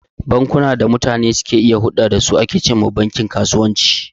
Bankunan da mutane ke iya hurɗa da su, su ake ce ma bankin kasuwanci..